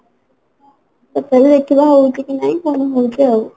ତ ଦେଖିବା ଏଥର ହଉଛି କି ନାହିଁ ପୁଣି ହଉଛି ଆଉ